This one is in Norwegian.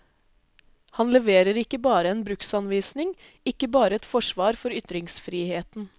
Han leverer ikke bare en bruksanvisning, ikke bare et forsvar for ytringsfriheten.